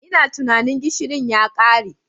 Ina tunanin gishirin ya kare.